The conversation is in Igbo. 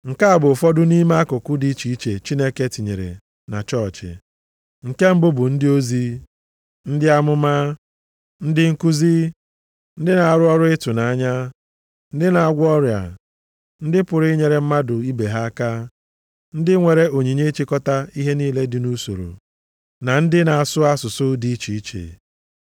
Nke a bụ ụfọdụ nʼime akụkụ dị iche iche Chineke tinyere na chọọchị; nke mbụ bụ ndị ozi, ndị amụma, ndị nkuzi, ndị na-arụ ọrụ ịtụnanya, ndị na-agwọ ọrịa, ndị pụrụ inyere mmadụ ibe ha aka, ndị nwere onyinye ịchịkọta ihe niile nʼusoro, na ndị na-asụ asụsụ dị iche iche.